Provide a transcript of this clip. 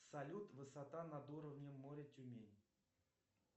салют высота над уровнем моря тюмень